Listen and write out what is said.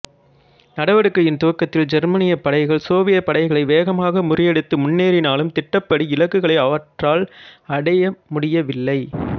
நடவடிக்கையின் துவக்கத்தில் ஜெர்மானியப் படைகள் சோவியத் படைகளை வேகமாக முறியடித்து முன்னேறினாலும் திட்டமிட்டபடி இலக்குகளை அவற்றால் அடையமுடியவில்லை